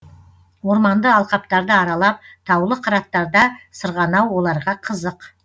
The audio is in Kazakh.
орманды алқаптарды аралап таулы қыраттарда сырғанау оларға қызық